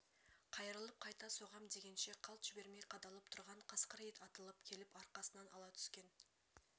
қайырылып қайта соғам дегенше қалт жібермей қадалып тұрған қасқыр ит атылып келіп арқасынан ала түскен